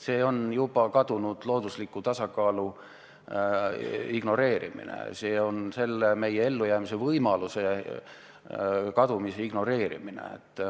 See on juba kadunud loodusliku tasakaalu ignoreerimine, see on meie ellujäämise võimaluse kadumise ignoreerimine.